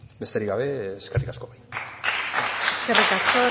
besterik gabe eskerrik asko eskerrik asko